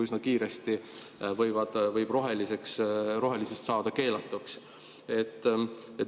Üsna kiiresti võib rohelisest saada keelatuks.